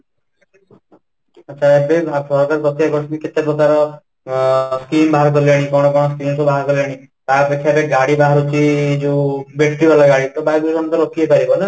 ଆଚ୍ଛା , ଏବେ ଭାରତ ସରକାର ପ୍ରତ୍ୟେକ ବର୍ଷ କେତେ ପ୍ରକାର ଅଂ Scheme ବାହାର କଲେଣି କ'ଣ କ'ଣ ସବୁ ସଚେମେ ବାହାର କଲେଣି ତା ପଛରେ ଗାଡି ବାହାରୁଛି ଯୋଉ battery ତ ବାୟୁ ପ୍ରଦୂଷଣ ତ ରୋକିପାରିବ ନା